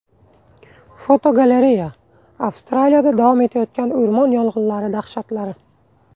Fotogalereya: Avstraliyada davom etayotgan o‘rmon yong‘inlari dahshatlari.